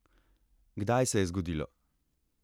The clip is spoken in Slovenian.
Kdaj se je zgodilo?